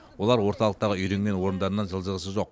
олар орталықтағы үйренген орындарынан жылжығысы жоқ